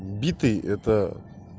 битый это